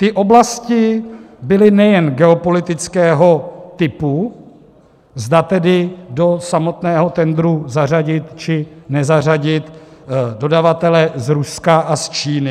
Ty oblasti byly nejen geopolitického typu, zda tedy do samotného tendru zařadit, či nezařadit dodavatele z Ruska a z Číny;